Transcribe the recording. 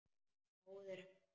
Móðir hans!